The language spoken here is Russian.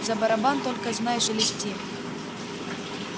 за барабан только знай шелести